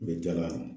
U bɛ dala kan